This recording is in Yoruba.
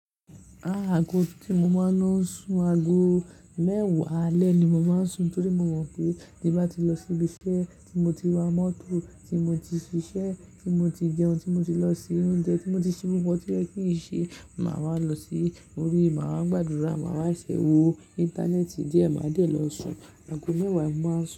Aago tí mo máa ń lo sun aago mẹ́wàá alẹ́ ni mo máa ń sun torí mo mọ̀ pé tí bá ti lọ síbi iṣẹ́ tí mo ti wa mọ́tò tí mo ti ṣiṣẹ́ tí mo ti jẹun tí mo ti lọ mo ti oúnjẹ tí mo ti ṣí gbogbo tí ó yẹ kí n ṣe, màá wa lọ sí orí, màá ma gbàdúrà, màá máa ṣẹ̀wọ̀, Íńtánẹ́ẹ̀tì díẹ̀, màá dẹ̀ lọ sun. Aago mẹ́wàá ni mo máa ń sun.